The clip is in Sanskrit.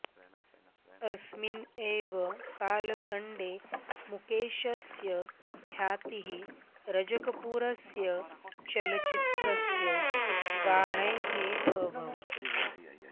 अस्मिन् एव कालखण्डे मुकेशस्य ख्यातिः रजकपूरस्य चलच्चित्रस्य गानैः अभवत्